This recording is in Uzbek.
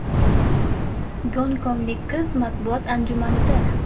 Gonkonglik qiz matbuot anjumanida.